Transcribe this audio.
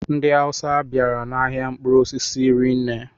Ndị Awusa bịara ahịa mkpụrụ osisi rinne